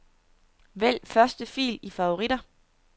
Vælg første fil i favoritter.